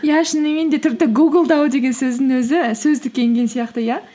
иә шынымен де тіпті гуглдау деген сөздің өзі сөздікке енген сияқты иә